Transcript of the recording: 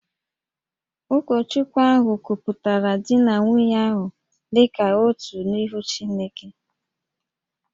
Ụkọchukwu ahụ kwupụtara di na nwunye ahụ dị ka otu n’ihu Chineke